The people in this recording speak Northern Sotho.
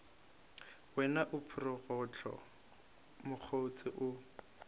wena o phorogohlo mokgotse o